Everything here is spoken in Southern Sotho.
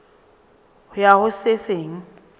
ho ya ho se seng